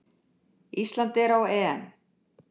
Ísland er á EM!